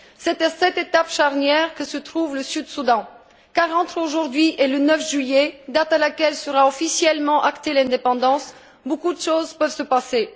C'est à cette étape charnière que se trouve le Sud Soudan car entre aujourd'hui et le 9 juillet, date à laquelle sera officiellement actée l'indépendance, beaucoup de choses peuvent se passer.